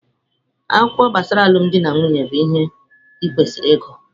Akwụkwọ gbasara alụmdi na nwunye bụ ihe i kwesịrị ịgụ.